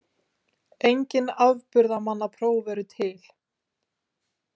Engin afburðamannapróf eru til.